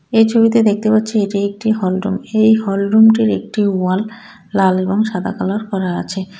এই ছবিতে দেখতে পাচ্ছি এটি একটি হল রুম এই হল রুমটির একটি ওয়াল লাল এবং সাদা কালার করা আছে.